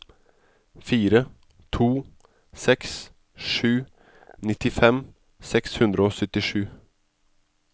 fire to seks sju nittifem seks hundre og syttisju